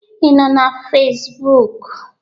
Ị nọ na Fesbụụk?